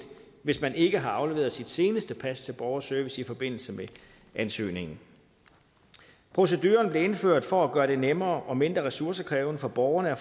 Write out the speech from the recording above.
hvis man ikke har afleveret sit seneste pas til borgerservice i forbindelse med ansøgningen proceduren blev indført for at gøre det nemmere og mindre ressourcekrævende for borgerne at